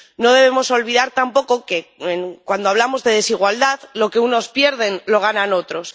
No debemos olvidar tampoco que cuando hablamos de desigualdad lo que unos pierden lo ganan otros.